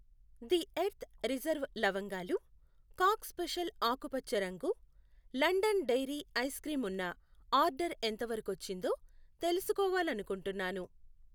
The earth reserve లవంగాలు, cock special ఆకుపచ్చ రంగు, లండన్ డెయిరీ ఐస్ క్రీం ఉన్న ఆర్డర్ ఎంతవరకొచ్చిందో తెలుసుకోవాలనుకుంటున్నాను.